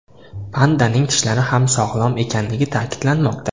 Pandaning tishlari ham sog‘lom ekanligi ta’kidlanmoqda.